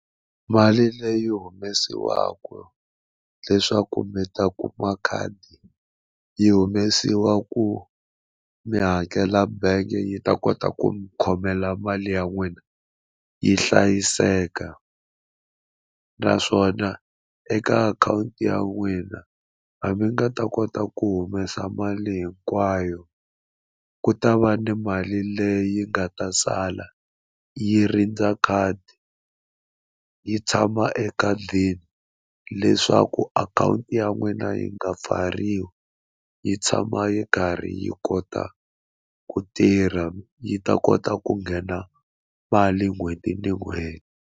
Mali leyi humesiwaku leswaku mi ta kuma khadi yi humesiwa ku mi hakela bangi yi ta kota ku mi khomela mali ya n'wina yi hlayiseka naswona eka akhawunti ya n'wina hambi u nga ta kota ku humesa mali hinkwayo ku ta va ni mali leyi nga ta sala yi rindza khadi yi tshama ekhadini leswaku akhawunti ya n'wina yi nga pfariwi yi tshama yi karhi yi kota ku tirha yi ta kota ku nghena mali n'hweti na n'hweti.